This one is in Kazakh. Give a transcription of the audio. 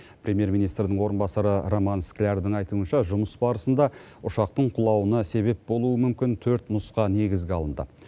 премьер министрдің орынбасары роман склярдың айтуынша жұмыс барысында ұшақтың құлауына себеп болуы мүмкін төрт нұсқа негізге алынды